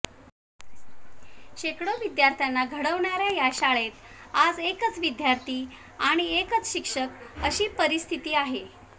शेकडो विद्यार्थ्यांना घडवणाऱ्या या शाळेत आज एकच विद्यार्थी आणि एकच शिक्षक अशी परिस्थिती आहे